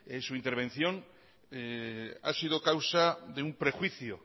su intervención ha sido causa de un prejuicio